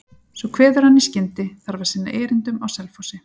Svo kveður hann í skyndi, þarf að sinna erindum á Selfossi.